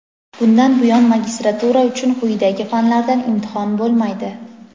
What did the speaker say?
Bundan buyon magistratura uchun quyidagi fanlardan imtihon bo‘lmaydi:.